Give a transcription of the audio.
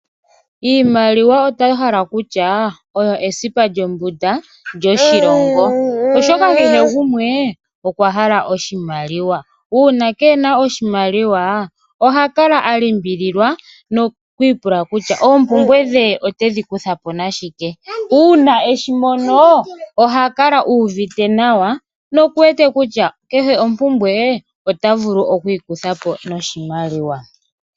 Iimaliwa oto hala kutya oyo esipa lyombunda lyoshilongo oshoka kehe gumwe okwa pumbwa oshimaliwa nuuna keena oshimaliwa oha kala alimbililwa tiipula kutya oompumbwe dhe otedhi kandulapo nashike. Uuna omuntu na oshimaliwa oha kala anyanyukwa.